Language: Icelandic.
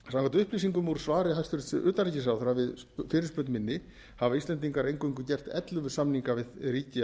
upplýsingum úr svari hæstvirts utanríkisráðherra við fyrirspurn minni hafa íslendingar eingöngu gert ellefu samninga við ríki af